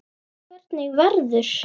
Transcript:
Hvernig verður?